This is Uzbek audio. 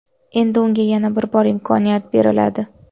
Endi unga yana bir bor imkoniyat beriladi.